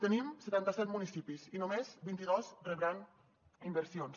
tenim setanta set municipis i només vint i dos rebran inversions